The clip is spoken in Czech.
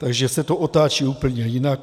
Takže se to otáčí úplně jinak.